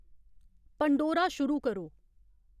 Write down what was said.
Pandora शुरू करो